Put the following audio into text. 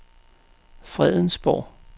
Fredensborg